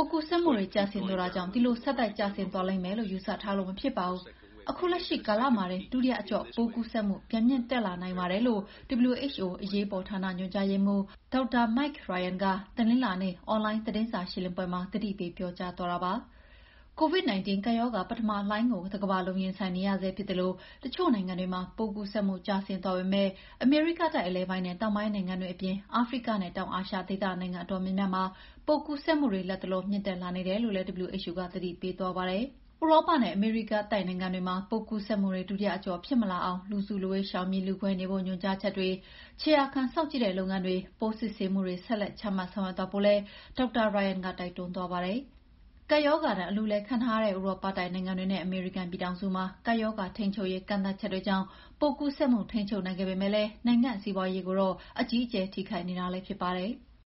ုးကူးစက်မှုတွေ ကျဆင်းသွားတာကြောင့် ဒီလိုဆက်တိုက်ကျဆင်းသွားလိမ့်မယ်လို့ ယူဆထားလို့မဖြစ်ပါဘူး။ ခုလက်ရှိကာလမှာတင် ဒုတိယအကျော့ ပိုးကူးစက်မှုပြန်မြင့်တက်လာနိုင်ပါတယ်။" လို့ WHO က အရေးပေါ်ဌာန ညွှန်ကြားရေးမှူးဒေါက်တာ Mike Ryan က တနင်္လာနေ့ အွန်လိုင်း သတင်းစာရှင်းလင်းပွဲမှာ သတိပေးပြောကြားသွားတာပါ။ COVID-19 ကပ်ရောဂါ ပထမလှိုင်းကို တကမ္ဘာလုံးရင်ဆိုင်နေရဆဲဖြစ်သလို တချို့နိုင်ငံတွေမှာပိုးကူးစက်မှု ကျဆင်းသွားပေမယ့် အမေရိကတိုက် အလယ်ပိုင်းနဲ့ တောင်ပိုင်းနိုင်ငံတွေအပြင် အာဖရိကနဲ့ တောင်အာရှဒေသ နိုင်ငံအတော်များများမှာ ပိုးကူးစက်မှုတွေ လတ်တလော မြင့်တက်လာနေတယ်လို့လည်း WHO က သတိပေးသွားပါတယ်။ ဥရောပနဲ့ အမေရိကတိုက်နိုင်ငံတွေမှာ ပိုးကူးစက်မှုတွေ ဒုတိယအကျော့ဖြစ်မလာအောင် လူစုလူဝေးရှောင်ပြီး လူခွဲနေဖို့ ညွှန်ကြားချက်တွေ၊ ခြေရာခံစောင့်ကြည့်တဲ့ လုပ်ငန်းတွေ၊ ပိုးစစ်ဆေးမှုတွေ ဆက်လက်ချမှတ် ဆောင်ရွက်သွားဖို့လည်း ဒေါက်တာ Ryan ကတိုက်တွန်းသွားပါတယ်။ ကပ်ရောဂါဒဏ် အလူးအလဲခံထားရတဲ့ ဥရောပတိုက်နိုင်ငံတွေ နဲ့ အမေရိကန်ပြည်ထောင်စုမှာ ကပ်ရောဂါထိန်းချုပ်ရေးကန့်သတ်ချတွေကြောင့် ပိုးကူးစက်မှု ထိန်းချုပ်နိုင်ခဲ့ပေမဲ့လည်း နိုင်ငံ စီးပွားရေးတွေကိုတော့ အကြီးအကျယ်ထိခိုက်နေတာလည်း ဖြစ်ပါတယ်။